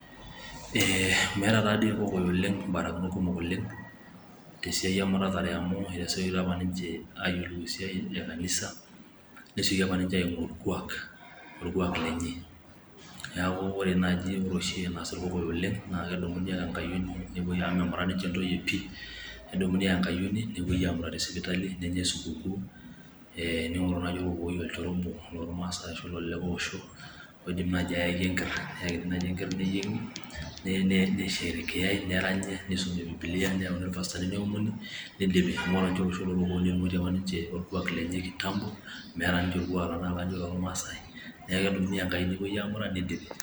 meeta taadii ikokoyok ibarakinot kumok oleng' tesiai emuratare, amu atasiekito apa ninche ayiolou esiai ekanisa neyiolou okuak lenye , neeku ore naaji enas ikokoyok oleng' keumuni ake engayioni neyai sipitali nenyae sukukuu ,ning'oru naaji orkokoyoi olchore obo loo irmaasai ashu kulie areren oidim ayaki enker neyieng ,naranyi, nisherekeyai, nipoti orpastai nisumi bibilia, neomoni nidipi niaku ore olosho loo irkokoyok netung'uatie apa ninche orkuak lenye kitambo.